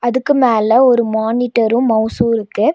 அதுக்கு மேல ஒரு மானிட்டரு மௌஸு இருக்கு.